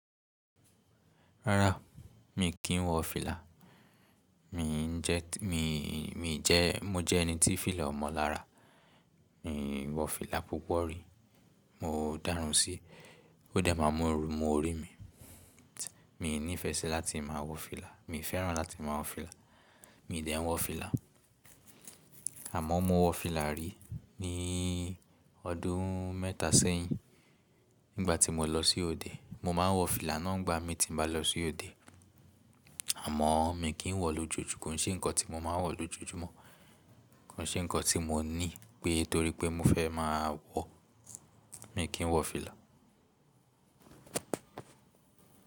Rárá, mi kì í wọ fìlà. Mi ń jẹ́, mi, mi jẹ́, mo jẹ́ ẹni tí fìlà o mọ́ lára. Mi wọ fìlà púpọ̀ rí. Mo dárùn sí, ó de má mú ooru mu orí mi. Mi n nìfẹ́ sí láti máa wọ fìlà. Mi n fẹ́ràn láti máa wọ fìlà. Mi dẹ̀ wọ fìlà, àmọ́ mo wọ fìlà rí ní ọdún mẹ́ta sẹ́yìn nígbà tí mo lọ sí òde. Mo máa n wọ fìlà náà nígbà mi ti ń bá lọ sí òde, àmọ́ mi kì í wọ lójoojúmọ́. Kò ṣe nǹkan tí mo máa ń wọ lójoojúmọ́. Kò ṣe nǹkan tí mo ní pé torí pé mo fẹ́ máa wọ, mi kì í wọ fìlà.